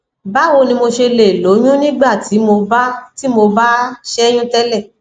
báwo ni mo ṣe lè lóyún nígbà tí mo bá tí mo bá ṣẹyún tele